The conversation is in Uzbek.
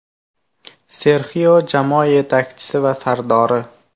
Serxio jamoa yetakchisi va sardori.